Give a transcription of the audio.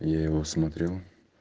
я его смотрел